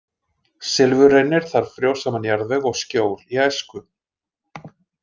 Silfurreynir þarf frjósaman jarðveg og skjól í æsku.